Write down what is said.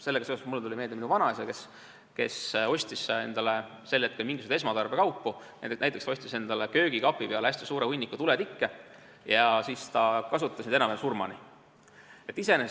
Sellega seoses tuli mulle meelde minu vanaisa, kes ostis endale sel ajal mingisuguseid esmatarbekaupu, näiteks ostis endale köögikapi peale hästi suure hunniku tuletikke ja siis kasutas neid enam-vähem surmani.